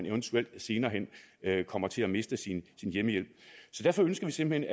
eventuelt senere hen kommer til at miste sin hjemmehjælp derfor ønsker vi simpelt